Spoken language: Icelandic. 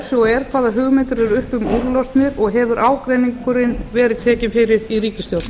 svo er hvaða hugmyndir eru uppi um úrlausnir og hefur ágreiningurinn verið tekinn fyrir í ríkisstjórn